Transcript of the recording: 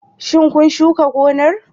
Shin kun shuka gonar?